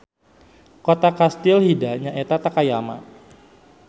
Kota kastil Hida nyaeta Takayama.